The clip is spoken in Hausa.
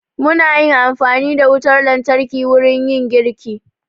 Mu na yin amfani da wutar lantarki wurin yin girki